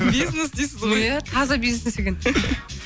бизнес дейсіз ғой иә таза бизнес екен